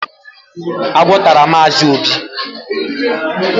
Agwọ tara Mazi obi